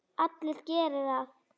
Allir geri það.